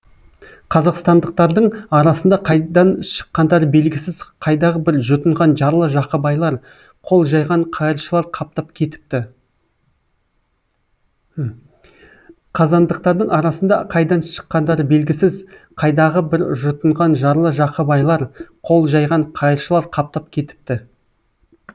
қазандықтардың арасында қайдан шыққандары белгісіз қайдағы бір жұтынған жарлы жақыбайлар қол жайған қайыршылар қаптап кетіпті қазандықтардың арасында қайдан шыққандары белгісіз қайдағы бір жұтынған жарлы жақыбайлар қол жайған қайыршылар қаптап кетіпті